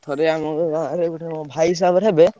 ଥରେ ଆମର ଗାଁରେ ଗୋଟେ ଭାଇ ହିସାବରେ ହେବେ।